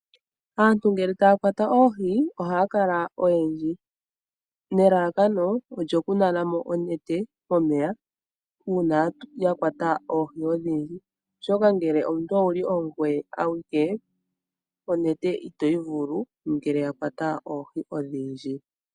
Aantu ngele taya kwata oohi ohaya kala oyendji nelalakano olyoku nana mo onete moneya uuna yakwata oohi odhindji oshoka ngele owuli ongoye awike onete itoyi vulu nele yakwata oohi odhindji.